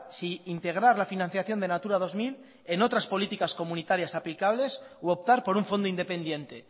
si integrar la financiación de natura dos mil en otras políticas comunitarias aplicables u optar por un fondo independiente